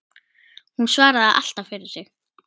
Hún svaraði alltaf fyrir sig.